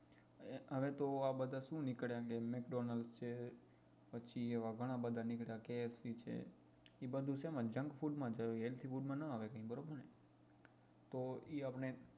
હવે તો આ બધા શું નીકળ્યા McDonald's છે પછી એવા ઘણા બધા નીકળ્યા KFC છે એ બધું ક્યાં આવે junk food માં જ આવે healthy food ના આવે ક્યાંય બરોબર ને તો એ આપણે